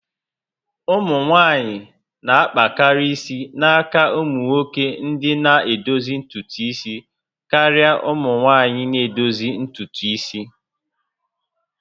Ụmụ nwanyị na-akpakarị isi n'aka ụmụnwoke ndị na-edozi ntutu isi karịa ụmụ nwaanyị na edozi ntutu isi